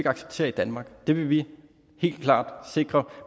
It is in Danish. acceptere i danmark og det vil vi helt klart sikre